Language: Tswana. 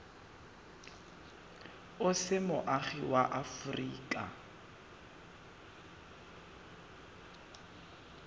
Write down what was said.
o se moagi wa aforika